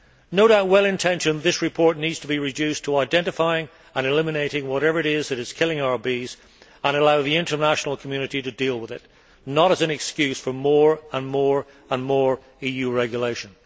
No doubt well intentioned, this report needs to be reduced to identifying and eliminating whatever it is that is killing our bees, and to allow the international community to deal with it, not to serve as an excuse for more and more and more EU regulation.